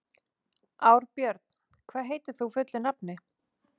Árbjörn, hvað heitir þú fullu nafni?